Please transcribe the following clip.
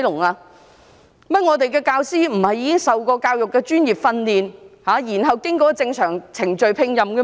原來我們的教師並非受過教育專業訓練，然後經過正常程序聘任的嗎？